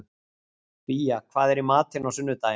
Fía, hvað er í matinn á sunnudaginn?